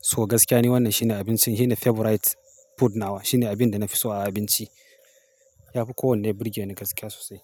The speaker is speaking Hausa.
So gaskiya ni wannan shine abincin, shine favorite food na wa. Shine abin da na fi so a abinci. Ya fi kowanne birge ni gaskiya sosai.